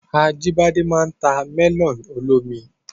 Ajíbọ́lá máa n ta mẹ́lọ̀nù olómi